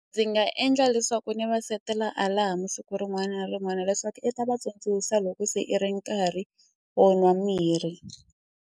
Ndzi nga endla leswaku ni va setela alarm-u siku rin'wana na rin'wana leswaku i ta va tsundzuxa loko se i ri nkarhi wo nwa mirhi.